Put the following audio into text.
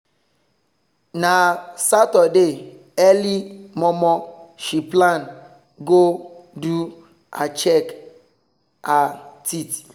na saturday early momo she plan go do her check her teeth